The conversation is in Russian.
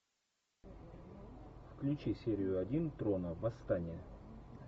включи серию один трона восстание